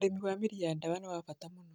Ũrĩmi wa mĩri ya dawa nĩ wa bata mũno.